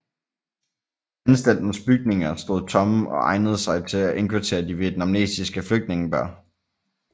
Anstaltens bygninger stod tomme og egnede sig til at indkvartere de vietnamesiske flygtningebørn